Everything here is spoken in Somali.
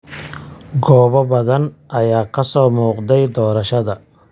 Goobo badan ayaa kasoo muuqday doorashada.